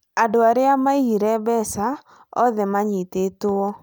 Andũ arĩa maiyire mbeca oothe manyitĩtwo